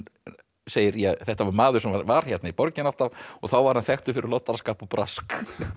segir þetta var maður sem var hérna í borginni alltaf og þá var hann þekktur fyrir loddaraskap og brask